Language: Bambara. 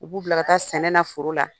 U b'u bila ka taa sɛnɛna foro la.